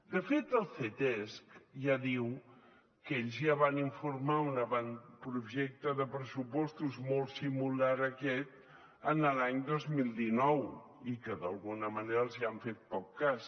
de fet el ctesc ja diu que ells ja van informar un avantprojecte de pressupostos molt similar a aquest l’any dos mil dinou i que d’alguna manera els han fet poc cas